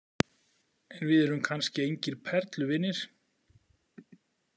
En við erum kannski engir perluvinir.